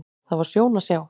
Það var sjón að sjá.